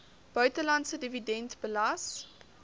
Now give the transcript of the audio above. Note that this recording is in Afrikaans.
buitelandse dividend belas